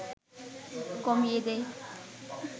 কমিয়ে দেয়